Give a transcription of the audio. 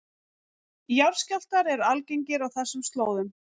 Jarðskjálftar eru algengir á þessum slóðum